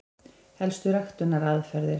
Helstu ræktunaraðferðir: